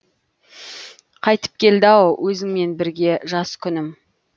қайтып келді ау өзіңмен бірге жас күнім